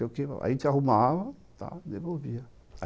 A gente arrumava e devolvia.